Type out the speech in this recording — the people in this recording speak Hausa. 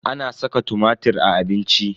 Ana saka tumatir a abinci.